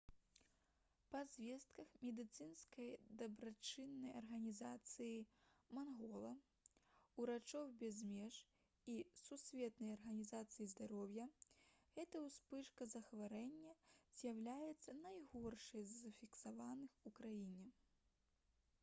па звестках медыцынскай дабрачыннай арганізацыі «мангола» «урачоў без меж» і сусветнай арганізацыі здароўя гэта ўспышка захворвання з'яўляецца найгоршай з зафіксаваных у краіне